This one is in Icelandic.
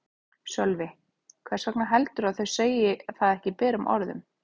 Sölvi: Hvers vegna heldurðu að þau segi það ekki berum orðum?